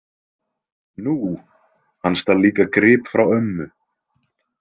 Nú, hann stal líka grip frá ömmu